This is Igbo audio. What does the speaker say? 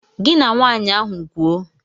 Gị na nwaanyị ahụ kwuo.